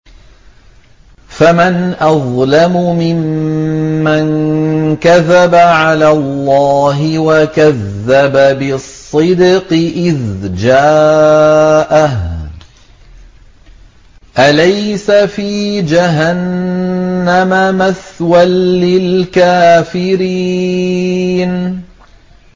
۞ فَمَنْ أَظْلَمُ مِمَّن كَذَبَ عَلَى اللَّهِ وَكَذَّبَ بِالصِّدْقِ إِذْ جَاءَهُ ۚ أَلَيْسَ فِي جَهَنَّمَ مَثْوًى لِّلْكَافِرِينَ